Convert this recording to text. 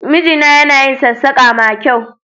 Mijina yana yin sassaƙa ma kyau